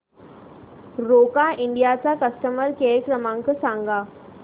Roca India चा customer care क्रमांक सांगा